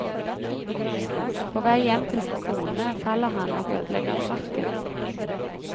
På vei hjem til sin kone faller han og ødelegger frakken.